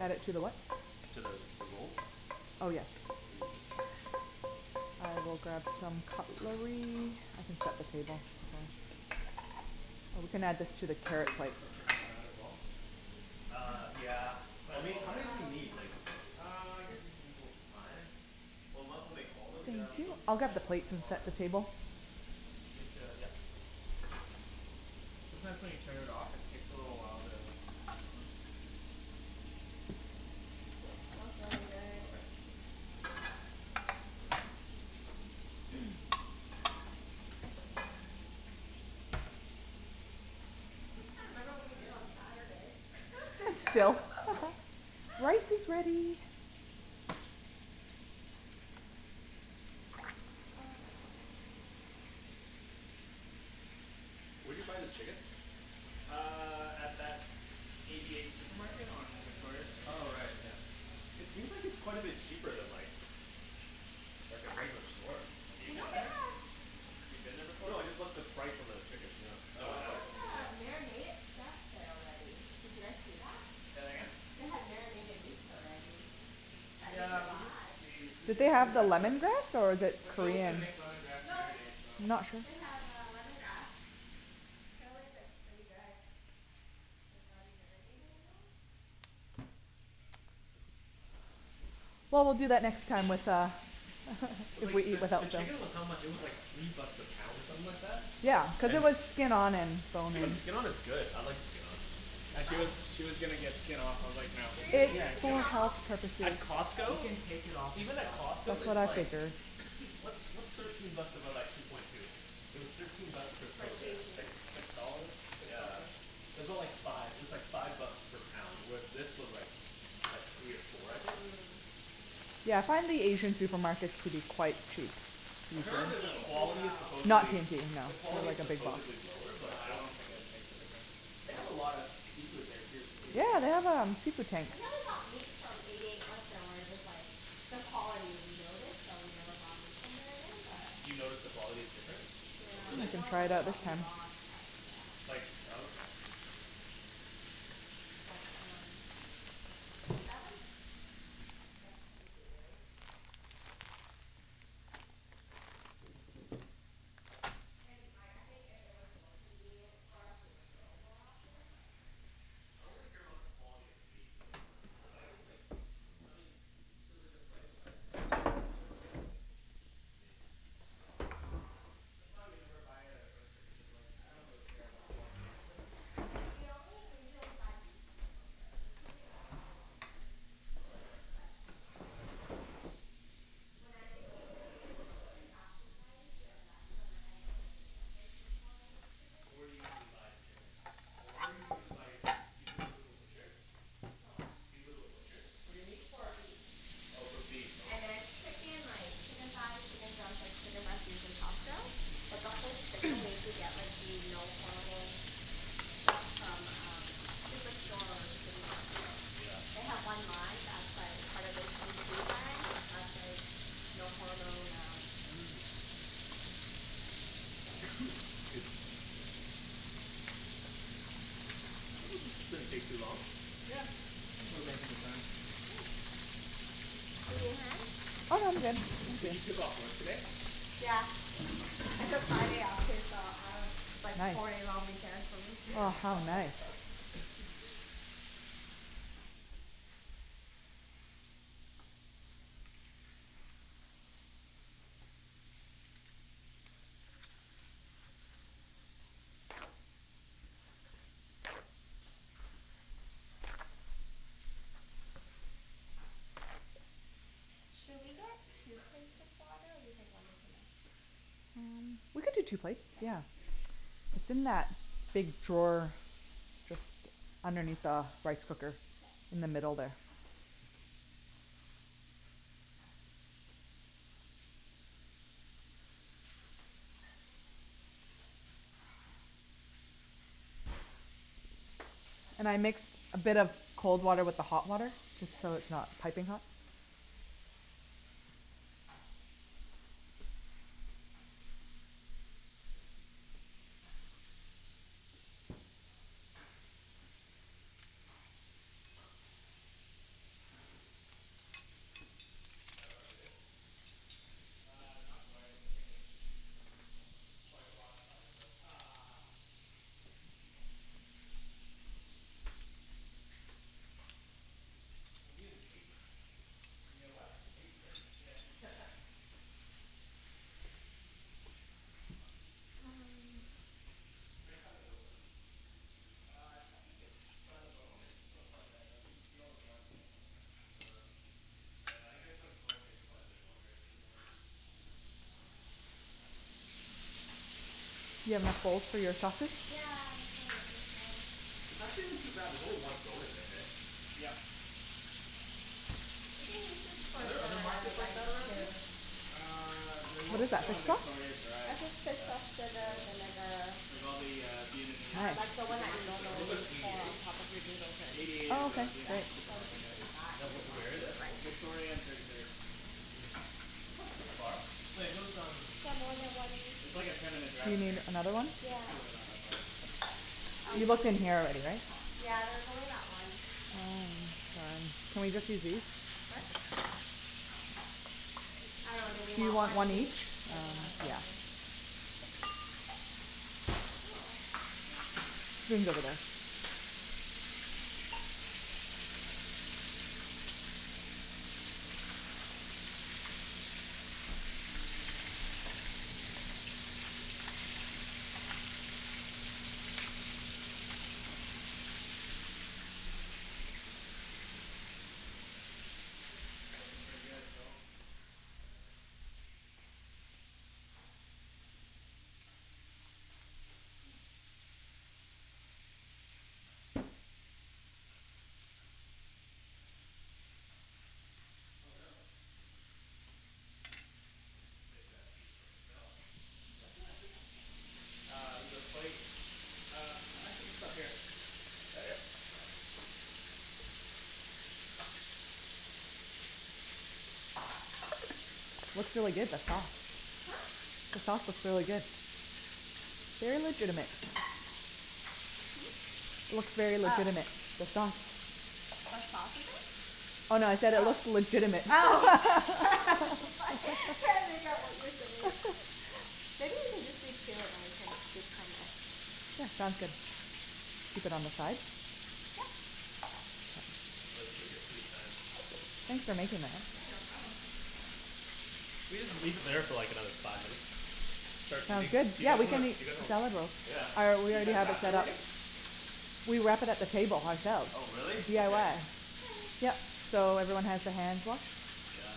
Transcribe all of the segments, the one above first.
Add it to the what? To the, the rolls? Oh yes. I will grab some cutlery, I can set the table as well. Oh we can add this to the Should carrot we put plate. some chicken in that as well? Uh, yeah. Well, we need, how many do we Uh, we need need like, some plates. one two three four five. Well, might as well make all of'em and then just Yeah, keep them, okay. yeah might as well, right? I'll grab the You have plates and to, yeah. set the table. Sometimes when you turn it off it takes a little while to come back on. It smells really good. Okay. I still can't remember what we did on Saturday. Still? Rice is ready! Where d'you buy the chicken? Uh, at that Eighty eight supermarket on Victoria street. Oh right yeah. It seems like it's quite a bit cheaper than like, like a regular store. Have you You know been they have there? You've been there before? No, I just looked at the price on the chickens, yeah. They No, I haven't. have uh marinated stuff there already. Did you guys see that? Say that again? They have marinated meats already, that you Yeah, can we did buy. see, we Did did they see have the that lemongrass or but the But Phil's gonna Korean. make lemongrass No, marinade so. they have uh lemongrass. Apparently it's like pretty good. Well, we'll do that next time with uh. The, the chicken was how much, it was like three bucks a pound or something like that? Yeah, cuz it was skin-on and bone in. But skin-on is good, I like skin-on. You She guys was, she was gonna get skin off, I was like, "No.". You were gonna get skin off? At You Costco can take it off Even at yourself. Costco That's what it's I like, figured what's what's thirteen bucks divided by two point two? It was thirteen bucks per Per kilogram. It's like kg? six dollars? Six Yeah. something? It's aboutt like five, it was like five bucks per pound. With this was like, like three or four, I think? Mm Yeah I find the Asian supermarkets to be quite cheap. Not Apparently the, the T&T quality is though. supposedly, the quality is supposedly lower No, but I I don't don't think it'd make a difference. They have a lot of seafood there too. Eighty eight? Yeah, they have um, seafood tanks. I think we only got meat from Eighty eight once and we were just like, the quality we noticed, so we never bought meat from there again but. You noticed the quality is different? Yeah, Hm, we Really? I can don't try it remember out this what we time. bought, but yeah. Like, oh okay. But um, yeah. They have like, fresh seafood, right? It's pretty good. And like, I think if it was more convenient for us we would go more often but. I don't really care about the quality of the meat, like. You don't? But I guess like, I mean, cuz like the price-wise, if it's a lot cheaper then, I mean That's why we never buy it at a Yeah. butcher, cuz like I don't really care about the quality either. We only, we usually only buy beef from the butcher, the chicken doesn't make a big difference, but when I make like then that's when like I notice the difference in quality of chickens. Where do you usually buy the chicken? Or where do you usually Um. buy your good meat, you go, go to a butcher? For what. Do you go to a butcher for your meat? For beef. Oh for beef, And okay. then chicken like, chicken thighs, chicken drumsticks, chicken breast usually Costco. But buffalo chicken we usually get like the no hormone stuff from um Superstore or City Market. They Yeah. have one line that's like part of the PC brand that's like no hormone um, so. This doesn't, didn't take too long. Yeah, think we're making good time. Do you need a hand? Oh no I'm good. Okay. So you took off work today? Yeah, I took Friday off, too, so I don't have to bike Nice. four day long weekend for me. Should we get Yeah, baste two that chicken. plates of water or do you think one is enough? Hm we could do two plates, You yeah. can baste It's in that big drawer, just underneath the rice cooker, in the middle there. And I mix a bit of cold water with the hot water? Just K. so it's not piping hot. Is that about good? Uh, not quite. I think it's quite raw inside so Ugh. We need an apron. You need a what? Apron. Yeah. Do I cut it open? Uh I, I think it's, by the bone it's still quite red, like you can see all the blood still coming out. Oh, oh yeah, I guess like bones take quite a bit longer. Yeah You have? Yeah, that's what this is It's for. actually not too bad, there's only one bone in there. heh? Yep. We can use this for Are there other the markets like rice that around here? too. Uh, they're What is mostly that, fish on sauce? Victoria Drive. I did fish Yeah. sauce, Yeah, sugar, vinegar. like all the uh Vietnamese Um like the one that you supermarkets are Wait, over normally there. what's Eighty pour eight? on top of the noodles or Eighty eight anything. is Oh a okay, Yeah, cool. Vietnamese so we supermarket, can serve yeah. that Yeah, if where you want, where is for it? the rice. Victoria and thirty third. Hm. That's like too far. Wait those um. Can I have more than one? It's like a ten minute Do drive you from need here. another one? Yeah, It's really not that far. there's um. You looked in here already right? Yeah there's only that one. Um, all right. Can we just use these? What? I dunno. Do we Do you want want one one each? each? That's what I was Um, yeah. wondering. We can go over there. Looking pretty good, Phil. Yeah. Oh no. Save that feet for myself Uh, there's a plate. Uh, actually just up here. Here? Yeah. Looks really good, the sauce. Huh? The sauce looks really good. They're legitimate. Hm? Looks very legitimate, the Oh. sauce. What sauce is Oh it? no I said it looks legitimate. Oh. I'm so sorry, can't make out what you're saying. Maybe you can just leave two and then we can scoop from it. Yeah, sounds good. Keep it on the side? Yep. take your sweet time. Thanks for making that. Yeah, no problem. Do we just leave it there for like another five minutes? Start Um eating? good, You yeah guys we wanna, can do make you guys the wanna salad rolls. Yeah. Oh, we Did you already guys have it wrap it set up. already? We wrapped it up, the table, ourselves. Oh really? Okay. DIY. Yup so, everyone has their hands washed? Yeah.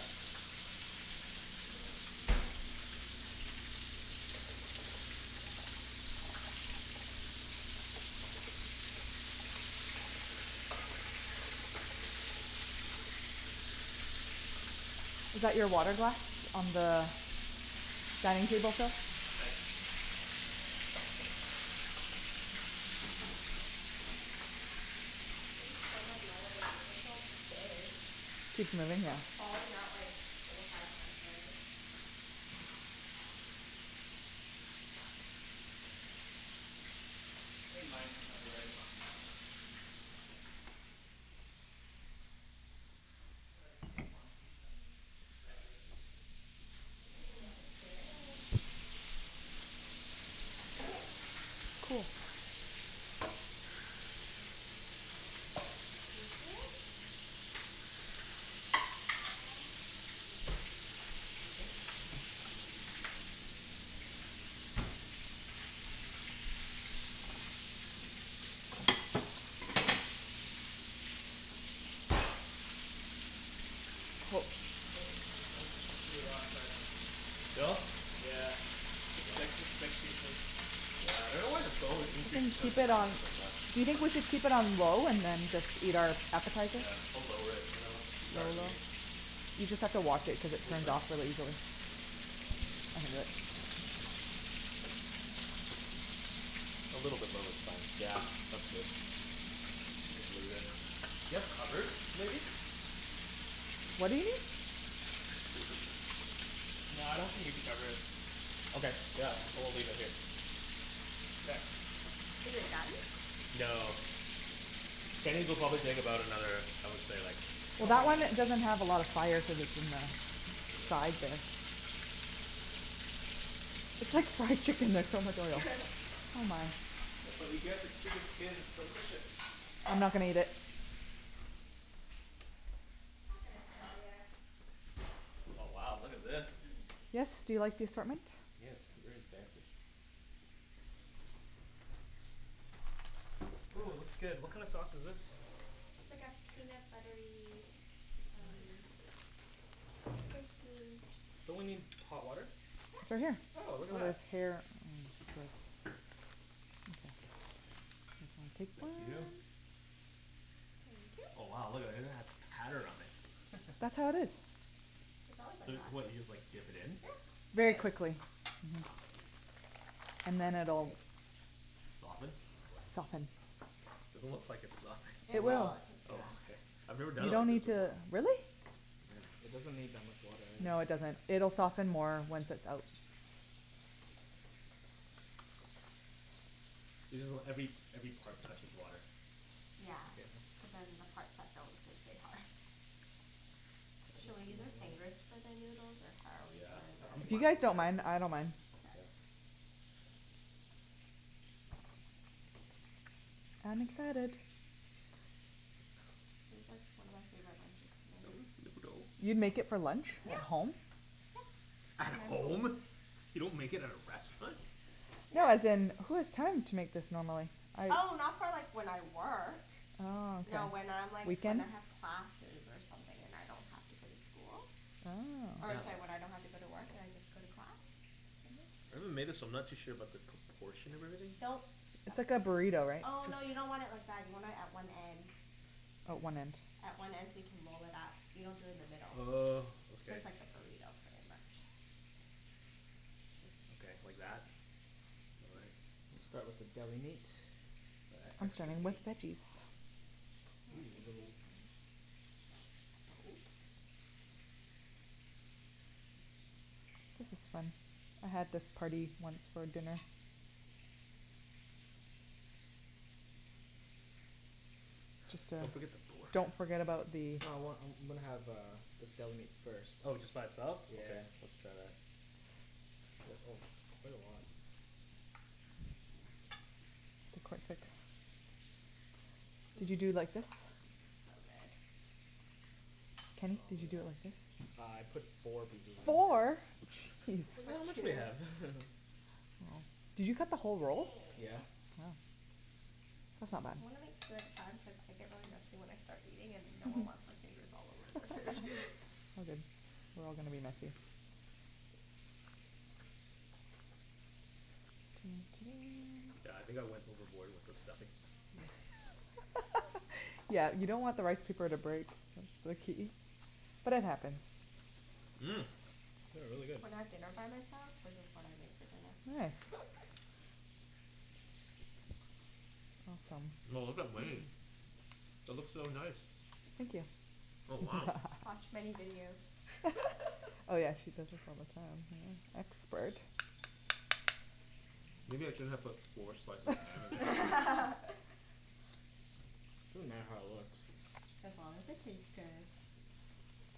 Is that your water glass on the dining table still? Thanks. This thing's so annoying. It just won't stay. It's Falling out like four, five times already. I think mine might be ready. I think I'll take one piece and cut it through. Ooh, that looks good. Is it? Um Nope, pretty raw inside. Still? Yeah Damn. Yeah, I dunno why the bone would You increase can the keep cooking it time on, by so much. do you think we should keep it on low and then just eat our appetizers? Yeah, we'll lower it and then we'll start eating You just have to watch it cuz it turns off really easily. I can do it. A little bit low is fine. Yeah, that's good. Just leave it. Do you have covers, maybe? What do you need? No, I don't think we need to cover it. Okay, yeah. I will leave it here. Okay. Is it done? No. Kenny's will probably take about another, I would say like Well, that one doesn't have a lot of fire cuz it's in the side there. It's like chicken there's so much oil. That's what you get for chicken skin, it's delicious! I'm not gonna eat it. It's not gonna kill ya. Oh wow, look at this. Yes, do you like the assortment? Yes, very fancy. Ooh looks good, what kinda sauce is this? It's like a peanut buttery um Nice. Spicy fish Don't we need sauce. hot water? It's right Yep. here. Oh, look at that. Thank you. Thank you. Oh wow, look at that, it even has pattern on it. That's how it is. It's always like So, what, you just that. like dip it in? Yeah. And Very it quickly. softens. And then it'll Soften? Yep. Soften. Doesn't look like it's softened. It It It will. will, will. it takes Oh okay. time. I've never done You it don't like this need before. to, Yeah. really? It doesn't need that much water No, it either. doesn't. It'll soften more once it's out. You just want every, every part touches water. Yeah. Cuz then the parts that don't, they stay hard. Should we use our fingers for the noodles or how are we Yeah. I I'm If you fine gonna guys with either. don't mind, I don't Mkay. mind. I'm excited. This is like one of my favorite lunches to make. You make it for lunch? At Yep home? Yep. At home? You don't make it at a restaurant? No, as in, who has time to make this normally. Oh, not for like when I work. Oh No when okay. I'm like when I have classes or something, and I don't have to go to school. Or it's Oh. like when I don't have to go to work and I just go to class. Maybe we made this but I'm not too sure about the proportion of everything. Don't It's stuff like too a much. burrito right? Oh no, you Just- don't want it like that. You want it at one end. Oh, one end. At one end so you can roll it up. You don't do it in the middle. Oh, okay. Just like a burrito, pretty much. Okay, like that? I'll start with the deli meat. E- I'm extra starting meat. with veggies. I want this meat. This is fun. I had this party once for dinner. Just uh Don't forget the pork. Don't forget about the. I want, I'm I'm gonna have uh this deli meat first. Oh just by itself? Okay, let's Yeah. try that. Oh it's quite a lot. Did you do it like this? This looks so good. Kenny, did you do it like this? Uh I put four pieces in Four?! Geez. Just Look put how much we two. have. Did you cut the whole roll? Yeah. Wow. That's not bad. You wanna make two at a time cuz I get really messy when I start eating and no one wants my fingers all over their food. It's all good. We're all gonna be messy. Yeah, I think I went overboard with the stuffing. Yeah you don't want the rice paper to break, that's the key, but it happens. Mmm. This is really good. When I have dinner by myself, this is what I make for dinner. Nice. Awesome. Wow, look at Wenny's. That looks so nice. Thank you. Oh wow. Watch many videos. Oh yeah, she does this all the time yeah, expert. Maybe I shouldn't have put four slices of ham in there. Doesn't matter how it looks. As long as it tastes good.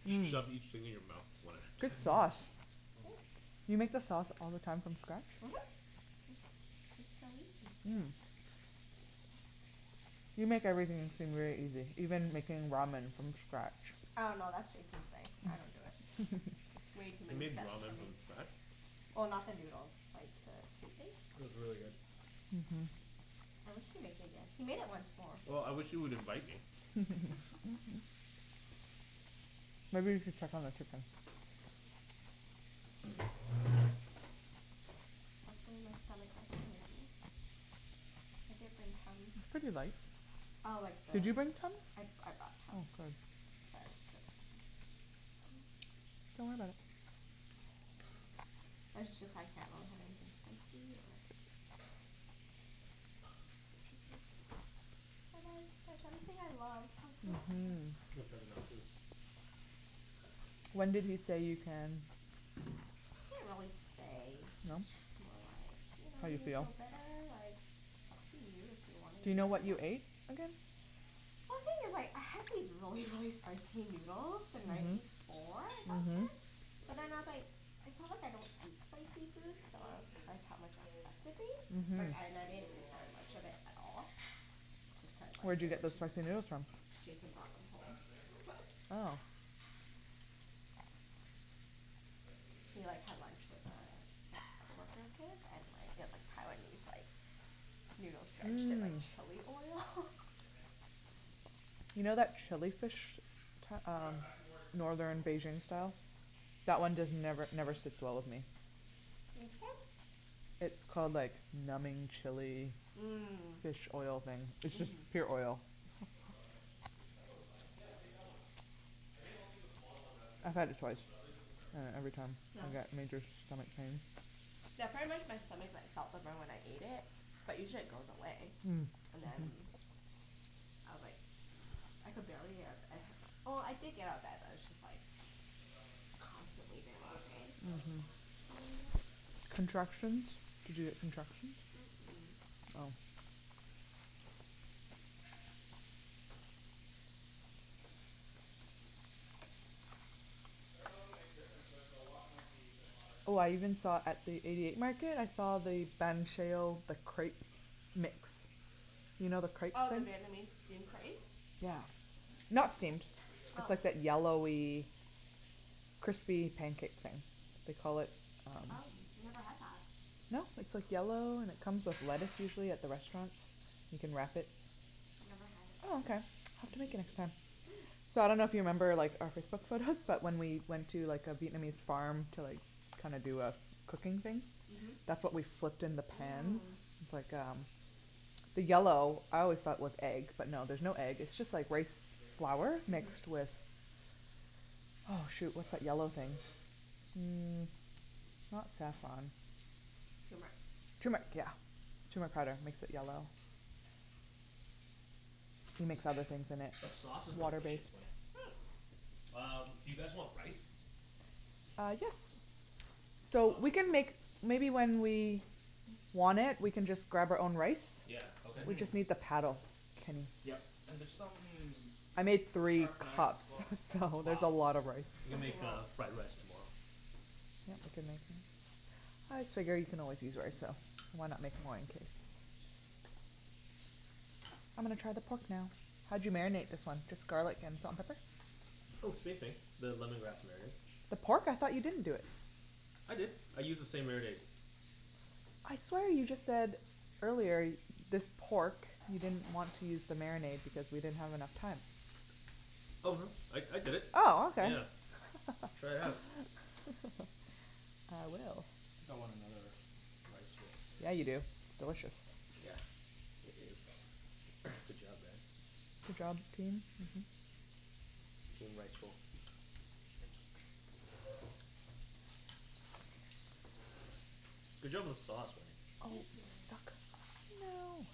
Just shove each thing in your mouth, one at a Good time sauce. Do you make the Thanks. sauce all the time from scatch? Mhm. It's, it's so easy. Mm. You make everything seem very easy, even making ramen from scatch. Oh no, that's Jason's thing, I don't do it. It's way too He many made steps for ramen me. from scratch? Well, not the noodles, like the soup It base. was really good. Mhm. I wish he'd make it again. He made it once more. Well, I wish he would invite me. Maybe you should check on the chicken. Hopefully my stomach doesn't hate me. I did bring Tums. Pretty light. Oh like the Did you bring Tums? I, I brought Oh, Tums. good. Sorry Don't worry about it. I just, just, I can't have anything spicy or cit- citrusy. Like I, that's everything I love. I'm so Mhm sad. Which When did he say you can? He didn't really say No? It's just more like You know How you when you feel? feel better, like it's up to you if you wanna Do you eat know them or what you not. ate again? I think it's like, I had these really really spicy noodles the night before I got Mhm. sick. How's But your? then I was like, it's not like I don't eat spicy The foods thick so I one was is surprised how much it still affected me. Like Mhm. ne- a I didn't little eat raw in the very much middle. of it at all. Just cuz like Where'd you they get were the spicy expensive. noodles from? Jason Ken, brought them home. that's the knife drawer? Oh. I could use a knife. He like had lunch with uh, ex-coworker of his, and like it was like Taiwanese like noodles Yeah, it's quite drenched in raw like in the middle chilli still. oil. Damn it. You know that chilli fish Well, Ta- um, it's back to more Northern rolls. Beijing Yeah. style? That one just never never sits well with me. Which one? It's called like numbing chilli Mm. Fish oil thing. It's just pure oil. Looks all right That looks fine. Yeah, take that one out. I think I'll take the smaller ones out too. I had it twice, we can start and eating now. every time I got major stomach pain. Yeah, pretty much my stomach like felt the burn when I ate it, but usually it goes away. Mm. And then, Mhm. I was like, I could barely get up, well I did get up out of bed but it's just like How's that constantly look? Oh there that all looks good, day. that looks Mhm, fine. Yeah? Yeah. contractions? Did you get contractions? Mm- mm. I dunno if it'll make a difference but the wok might be a bit hotter. Oh I even saw at the eighty eight market, I saw the Ben Schill the crepe mix, you know the crepe Oh, the thing? Here Vietnamese let's steamed try this crepe? one. Yeah. Not steamed. Here, bring the It's plate Oh. like over. that yellowy crispy pancake thing, they call it um. Oh, never had that. No? It's like yellow, and it comes with lettuce usually at the restaurants. You can wrap it. I've never had it. Oh okay. I'll take you next time. So I dunno if you remember like our That looks all Facebook photos That looks right. but good. when we went to like a Vietnamese farm to like kinda do a f- cooking thing? Mhm. That's what we flipped in the pans. Mm. Like uh the yellow, This I one's always a thought it little was egg, but no there's raw. no egg, it's just like rice Yeah, the bigger piece flour right? mixed with, Yeah. oh shoot, what's that yellow thing. Mm, not saffron. Turmeric. Turmeric! Yeah. Turmeric powder makes it yellow. You mix other things in it, The sauce is water delicious, based. Wenny. Um, do you guys want rice? Uh, yes! So we can make maybe when we want it we can just grab our own rice. Yeah, okay. We just made the paddle, Kenny. Yeah. And there's some I made three sharp knives cups as well so there's a lot of rice. You can Oh make wow. uh, fried rice tomorrow. Yeah, we can make it. I just figured you can always use rice so, why not make more in case. I'm gonna try the pork now. How'd you marinate this one? Just garlic and salt n pepper? Oh same thing, the lemongrass marinade. The pork? I thought you didn't do it. I did, I used the same marinade. I swear you just said earlier, this pork you didn't want to use the marinade because we didn't have enough time. Oh no, I I did it. Oh okay. Yeah, try it out. I will. I think want another rice roll Yeah, you do. It's delicious. Yeah, it is. Good job guys. Good job, team. Mhm. Team rice roll. Good job on the sauce, Oh Wenny. Thank you. it's stuck, no!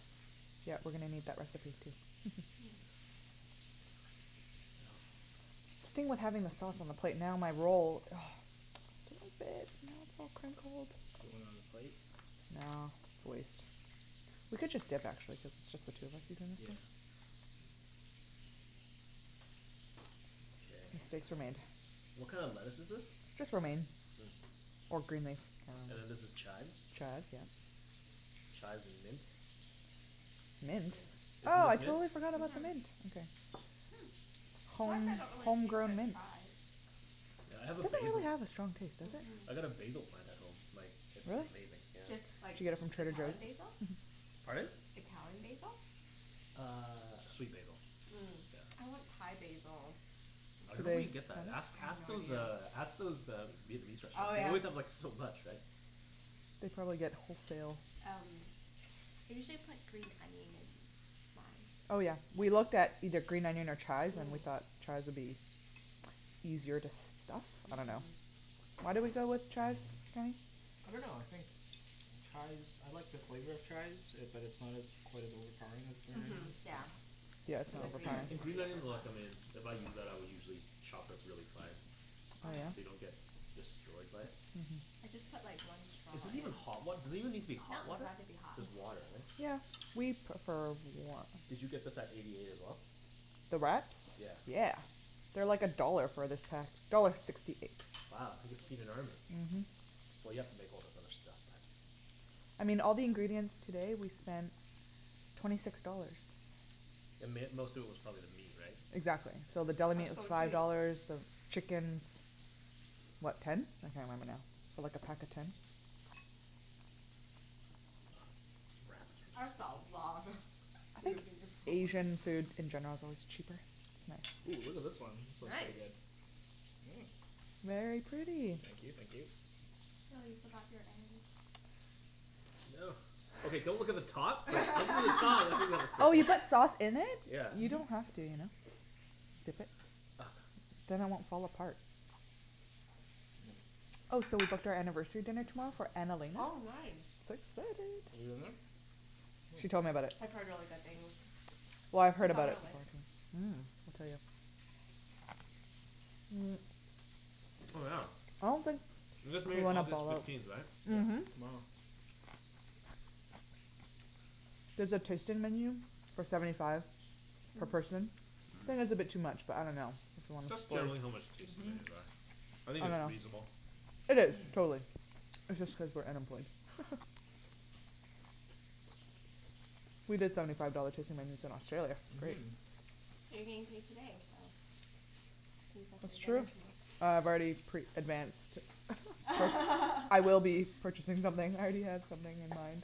Yeah, we're gonna need that recipe, too. The thing with having the sauce on the plate, now my roll ugh, it won't fit! Now it's all crinkled. Do you want another plate? No, it's a waste. We could just dip actually cuz it's just the two of us eating this thing. Yeah. Okay. What kind of lettuce is this? Just romaine, or green leaf. And then this is chives? Chives, yeah. Chives with mint. Mint? Isn't Oh, I this mint? totally forgot about the mint, okay. Why is it Home, that I don't really taste home-grown the mint. chives? Yeah, I have a It doesn't basil really have a strong taste, does it? Mhm. I got a basil plant at home, like it's Really? amazing yeah. Just, like, Did you get it from Trader Joes? Italian basil? Pardon? Italian basil? Uh, sweet basil. Mm. I want Thai basil. I don't know where you get that. Ask, ask those uh, ask those uh, Vietnamese Oh restaurants. They yeah. always have like so much, right. They probably get wholesale. Um, I usually put green onion in mine. Oh yeah, we looked at either green onion or chives and we thought chives would be easier to stuff, I dunno. Mhm. Why did we go with chives, Kenny? I dunno, I think chives, I like the flavor of chives it, but it's not as quite as overpowering as green Mhm, onions. yeah. Cuz the green And green onion's onion I like em in, if I use that I'll usually chop it really fine, Oh so yeah? you don't get destroyed by it. I just put like one straw Is this in. even hot wat- does it even need to be No, hot it doesn't water? have to be hot. Just water right? Yeah, we prefer warm. Did you get this at Eighty eight as well? The wraps? Yeah. Yeah. They're like a dollar for this pack, dollar sixty eight. Wow. You can feed an army. Mhm. Well you have to make all this other stuff. I mean, all the ingredients today we spent twenty six dollars. The mai- most of it was probably the meat, right? Exactly. So the deli That's meat was so five cheap. dollars, the chickens, what, ten? I can't remember now, for like a pack of ten? That's a lot of I think food. Asian food in general is always cheaper, isn't Oh, look at this it. one, this looks pretty Nice! good. Mm. Very pretty. Thank you thank you. Oh, you forgot your ends. No. Okay, don't look at the top Oh, you put sauce in it? Yeah. You don't have to you know. Dip it. Then it won't fall apart. Oh so we booked our anniversary dinner tomorrow for Annalena. Oh nice! So You've excited! been there? She told me about it. I've heard really good things. Well, I've heard It's on about it our list. before, too. Mm, it's really good. Oh yeah, I don't think. you guys married August fifteenth, right? Yep. Mhm. Tomorrow. There's a tasting menu for seventy five per person, I think it's a bit too much but I dunno. That's generally how much tasting Mhm. menus are. I think it's I dunno. reasonable. It is, totally. It's just cuz we're unemployed. We did seventy five dollar tasting menus in Australia, it was great. Mhm. But you're getting paid today so, you can get yourself That's good true. dinner Uh, tomorrow. I've already pre-advanced. I will be purchasing something I already have something in mind.